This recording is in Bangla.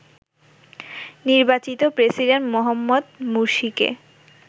নির্বাচিত প্রেসিডেন্ট মোহাম্মদ মুরসিকে